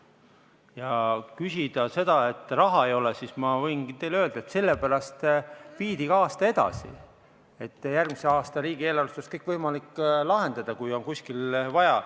Kui rääkida sellest, et raha ei ole, siis ma võin teile öelda, et sellepärast viidigi aasta edasi, et järgmise aasta riigieelarvest oleks võimalik seda lahendada, kui on kuskil vaja.